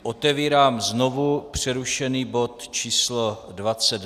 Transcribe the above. Otevírám znovu přerušený bod číslo